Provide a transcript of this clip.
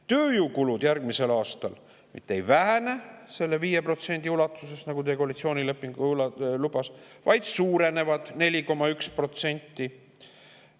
Tööjõukulud järgmisel aastal mitte ei vähene 5% ulatuses, nagu teie koalitsioonileping lubas, vaid suurenevad 4,1%.